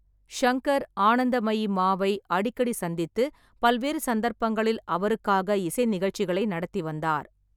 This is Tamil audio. ஷங்கர் ஆனந்தமயி மாவை அடிக்கடி சந்தித்து பல்வேறு சந்தர்ப்பங்களில் அவருக்காக இசை நிகழ்ச்சிகளை நடத்தி வந்தார்.